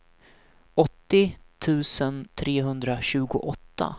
åttio tusen trehundratjugoåtta